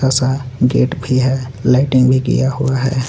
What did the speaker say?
Gate भी है lighting भी किया हुआ है.